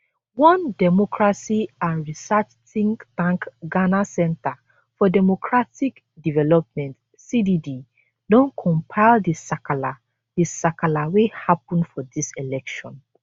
one democracy and research think tank ghana center for democratic development cdd don compile di sakala di sakala wey happun for dis election